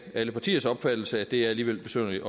alle partiers opfattelse at det alligevel er besynderligt